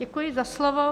Děkuji za slovo.